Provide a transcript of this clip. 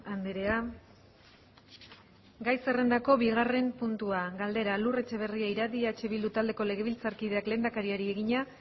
andrea gai zerrendako bigarren puntua galdera lur etxeberria iradi eh bildu taldeko legebiltzarkideak lehendakariari egina